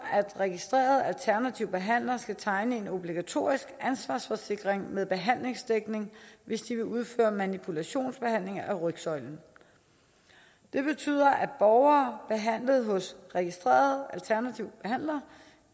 registrerede alternative behandlere skal tegne en obligatorisk ansvarsforsikring med behandlingsdækning hvis de vil udføre manipulationsbehandlinger af rygsøjlen det betyder at borgere behandlet hos registrerede alternative behandlere